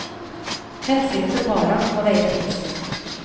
Hensynet til barna må veie tyngst.